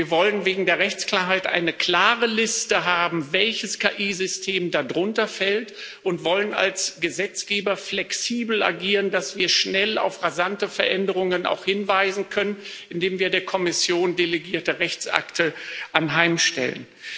Wir wollen wegen der Rechtsklarheit eine klare Liste haben, welches KI-System darunter fällt, und wir wollen als Gesetzgeber flexibel agieren, dass wir auch schnell auf rasante Veränderungen hinweisen können, indem wir der Kommission delegierte Rechtsakte anheimstellen.